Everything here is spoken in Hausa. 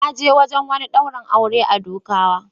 Na je wajen wani daurin aure a Dukawa.